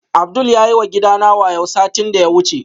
Abdul yayi wa gidana wayo satin da ya wuce